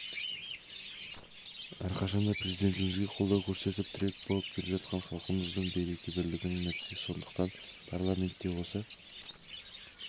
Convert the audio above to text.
әрқашан да президентімізге қолдау көрсетіп тірек болып келе жатқан халқымыздың береке-бірлігінің нәтижесі сондықтан парламентте осы